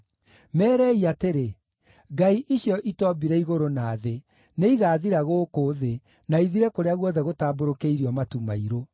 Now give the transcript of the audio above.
“Meerei atĩrĩ, ‘Ngai icio itoombire igũrũ na thĩ, nĩigathira gũkũ thĩ, na ithire kũrĩa guothe gũtambũrũkĩirio matu mairũ.’ ”